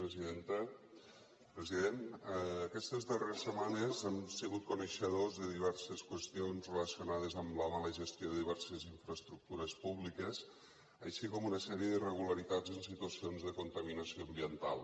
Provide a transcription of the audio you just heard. president aquestes darreres setmanes hem sigut coneixedors de diverses qüestions relacionades amb la mala gestió de diverses infraestructures públiques així com d’una sèrie d’irregularitats en situacions de contaminació ambiental